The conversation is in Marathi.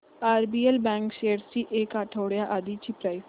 आरबीएल बँक शेअर्स ची एक आठवड्या आधीची प्राइस